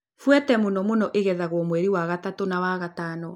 Buete mũno mũno ĩgethagũo mweri wa gatatu na wa gatano